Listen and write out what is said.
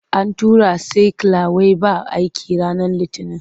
An tura saikyula wai ba aiki ranar Litinin.